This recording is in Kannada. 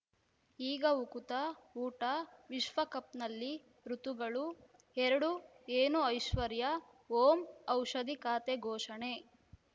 ಈಗ ಉಕುತ ಊಟ ವಿಶ್ವಕಪ್‌ನಲ್ಲಿ ಋತುಗಳು ಎರಡು ಏನು ಐಶ್ವರ್ಯಾ ಓಂ ಔಷಧಿ ಖಾತೆ ಘೋಷಣೆ